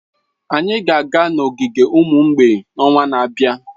Anyị ga-aga n'ogige ụmụ mgbei n'ọnwa na-abịa